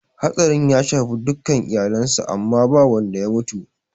Hatsarin ya shafi dukka iyalen sa amma ba wadda ya mutu